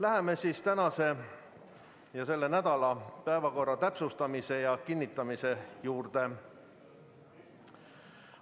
Läheme tänase ja kogu selle nädala päevakorra täpsustamise ja kinnitamise juurde.